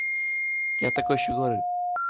я такой ещё говорю